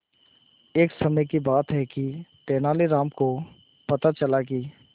एक समय की बात है कि तेनालीराम को पता चला कि